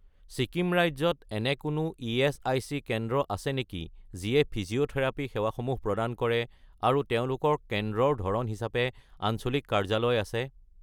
ছিকিম ৰাজ্যত এনে কোনো ইএচআইচি কেন্দ্ৰ আছে নেকি যিয়ে ফিজিঅ'থেৰাপী সেৱাসমূহ প্ৰদান কৰে আৰু তেওঁলোকৰ কেন্দ্ৰৰ ধৰণ হিচাপে আঞ্চলিক কাৰ্যালয় আছে?